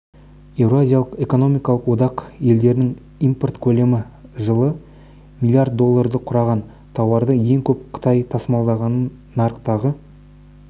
еуразиялық экономикалық одақ елдерінің импорт көлемі жылы миллиард долларды құраған тауарды ең көп қытай тасымалдаған нарықтағы